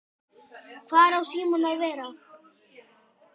Hvar á síminn að vera?